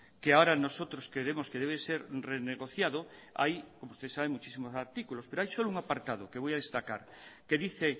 que ahora nosotros queremos que debe ser renegociado hay como ustedes saben muchísimos artículos pero hay solo un apartado que voy a destacar que dice